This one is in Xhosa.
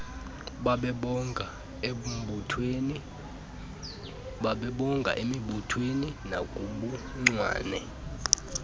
banebango emibuthweni nakubuncwane